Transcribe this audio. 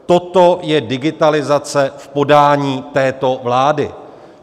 Toto je digitalizace v podání této vlády.